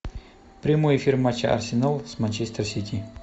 прямой эфир матча арсенал с манчестер сити